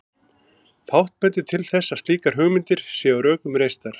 Fátt bendir til þess að slíkar hugmyndir séu á rökum reistar.